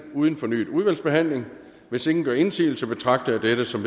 uden fornyet udvalgsbehandling hvis ingen gør indsigelse betragter jeg dette som